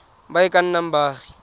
ba e ka nnang baagi